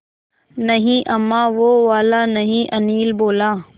नहीं अम्मा वो वाला नहीं अनिल बोला